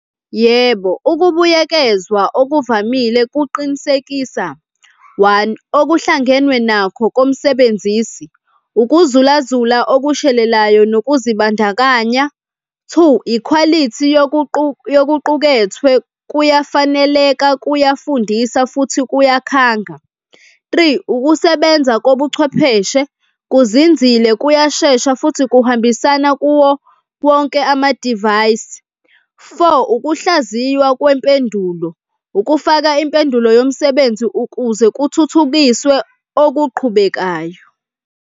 Yebo, ukubuyekezwa okuvamile kuqinisekisa, one, okuhlangenwe nakho komsebenzisi, ukuzulazula okushelelayo nokuzibandakanya. Two, ikhwalithi yokuqukethwe kuyafaneleka, kuyafundisa futhi kuyakhanga. Three, ukusebenza kobuchwepheshe kuzinzile, kuyashesha futhi kuhambisana kuwo wonke amadivayisi. Four, ukuhlaziywa kwempendulo, ukufaka impendulo yomsebenzi ukuze kuthuthukiswe okuqhubekayo.